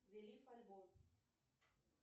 альбом